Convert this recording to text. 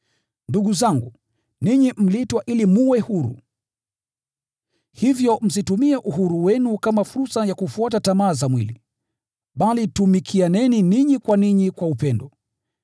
Ndugu zangu, ninyi mliitwa ili mwe huru, hivyo msitumie uhuru wenu kama fursa ya kufuata tamaa za mwili, bali tumikianeni ninyi kwa ninyi kwa upendo.